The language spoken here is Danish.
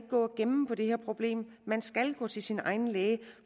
gå og gemme på det her problem man skal gå til sin egen læge